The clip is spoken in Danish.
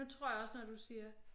Nu tror jeg også når du siger